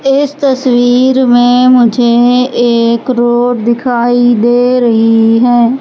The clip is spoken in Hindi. इस तस्वीर में मुझे एक रोड दिखाई दे रही है।